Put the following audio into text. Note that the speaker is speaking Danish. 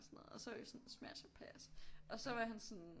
Sådan noget og så var vi sådan smash or pass og så var han sådan